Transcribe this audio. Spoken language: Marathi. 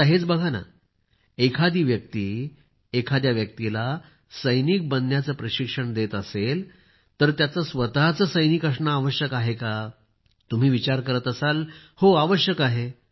आता हेच बघा एखादी व्यक्ती एखाद्या व्यक्तीला सैनिक बनण्याचे प्रशिक्षण देत असेल तर त्याचे स्वतःचे सैनिक असणे आवश्यक आहे का तुम्ही विचार करत असाल हो आवश्यक आहे